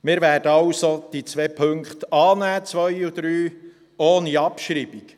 Wir werden also diese beiden Punkte 2 und 3 annehmen ohne Abschreibung.